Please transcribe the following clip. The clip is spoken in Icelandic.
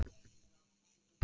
Hvað kvittaði ég upp á?